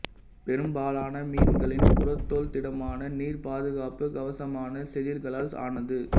பெரும்பாலான மீன்களின் புறத்தோல் திடமான நீர் பாதுகாப்புக் கவசமான செதில்களால் ஆனது